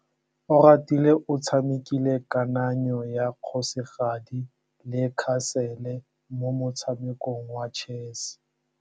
Oratile o tshamekile kananyô ya kgosigadi le khasêlê mo motshamekong wa chess.